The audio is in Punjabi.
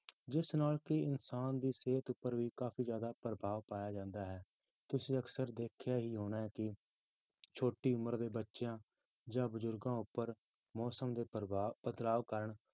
ਜਿਸ ਨਾਲ ਕਿ ਇਨਸਾਨ ਦੀ ਸਿਹਤ ਉੱਪਰ ਵੀ ਕਾਫ਼ੀ ਜ਼ਿਆਦਾ ਪ੍ਰਭਾਵ ਪਾਇਆ ਜਾਂਦਾ ਹੈ, ਤੁਸੀਂ ਅਕਸਰ ਦੇਖਿਆ ਹੀ ਹੋਣਾ ਹੈ ਕਿ ਛੋਟੀ ਉਮਰ ਦੇ ਬੱਚਿਆਂ ਜਾਂ ਬਜ਼ੁਰਗਾਂ ਉੱਪਰ ਮੌਸਮ ਦੇ ਪ੍ਰਭਾਵ ਬਦਲਾਵ ਕਾਰਨ,